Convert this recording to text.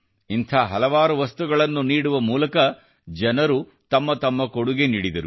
ಇಂಥ ಹಲವಾರು ವಸ್ತುಗಳನ್ನು ನೀಡುವ ಮೂಲಕ ಜನರು ತಮ್ಮ ತಮ್ಮ ಕೊಡುಗೆ ನೀಡಿದರು